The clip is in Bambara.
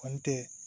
Kɔni tɛ